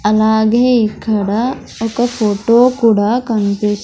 అలాగే ఇక్కడ ఒక ఫోటో కూడా కనిపి --